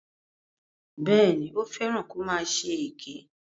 Bẹ́ẹ̀ni, ó fẹ́ràn kó máa ṣe èké.